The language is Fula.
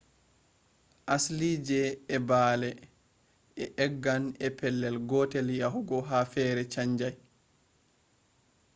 asliije ee baa’le e eggan e pelel gotel yahugo ha fere chanjai